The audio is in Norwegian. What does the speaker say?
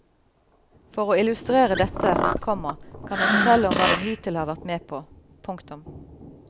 For å illustrere dette, komma kan jeg fortelle om hva den hittil har vært med på. punktum